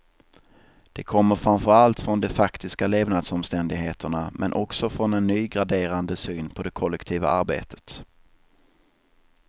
Det kommer framför allt från de faktiska levnadsomständigheterna, men också från en ny graderande syn på det kollektiva arbetet.